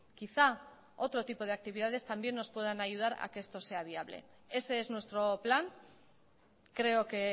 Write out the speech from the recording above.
quizá otro tipo de actividades también nos puedan ayudar a que esto sea viable ese es nuestro plan creo que